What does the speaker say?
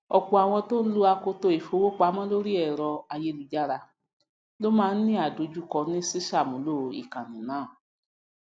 ọpọ àwọn tó ń lo akoto ìfowópamọ lórí ẹrọ ayélujára ló ma ń ní àdojúkọ ní ṣíṣàmúlò ìkànnì náà